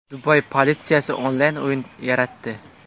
Dubay politsiyasi onlayn o‘yin yaratdi.